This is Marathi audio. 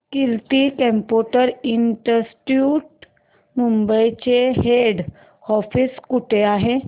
कीर्ती कम्प्युटर इंस्टीट्यूट मुंबई चे हेड ऑफिस कुठे आहे